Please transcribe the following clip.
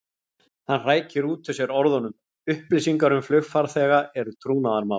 Hann hrækir út úr sér orðunum: Upplýsingar um flugfarþega eru trúnaðarmál.